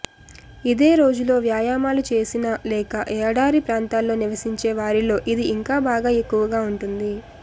ఇదే రోజులో వ్యాయామాలు చేసినా లేక ఏడారి ప్రాంతాల్లో నివసించే వారిలో ఇది ఇంకా బాగా ఎక్కువగా ఉంటుంది